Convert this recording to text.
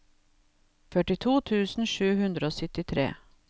førtito tusen sju hundre og syttitre